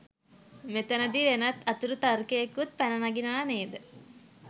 මෙතැනදී වෙනත් අතුරු තර්කයකුත් පැනනගිනවා නේද?